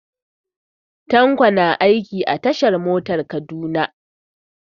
Tanko na aiki a tashar motar Kaduna.